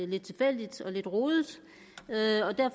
lidt tilfældig og lidt rodet